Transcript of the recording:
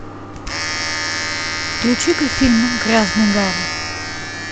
включи ка фильм грязный гарри